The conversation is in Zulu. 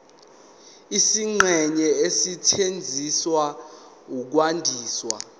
izingxenye ezisetshenziswa ukwandisa